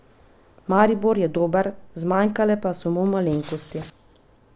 Maribor je bil dober, zmanjkale pa so mu malenkosti.